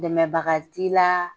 Dɛmɛbaga t'i la